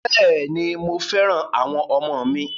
Bẹ́ẹ̀ ni, mo fẹ́ràn àwọn ọmọ mi.